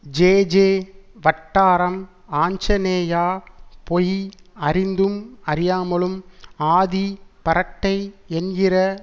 J J வட்டாரம் ஆஞ்சநேயா பொய் அறிந்தும் அறியமாலும் ஆதி பரட்டை என்கிற